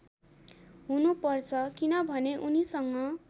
हुनुपर्छ किनभने उनीसँग